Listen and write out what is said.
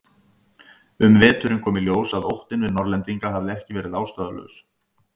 Um veturinn kom í ljós að óttinn við Norðlendinga hafði ekki verið ástæðulaus.